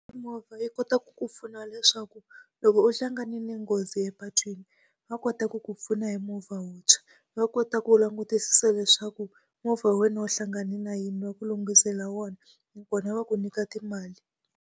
Mimovha yi kotaka ku pfuna leswaku loko u hlanganile nghozi epatwini, va kota ku ku pfuna hi movha wuntshwa. Va kota ku langutisisa leswaku movha wa wena u hlangane na yini va ku lunghisela wona, nakona va ku nyika timali.